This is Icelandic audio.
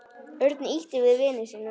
Örn ýtti við vini sínum.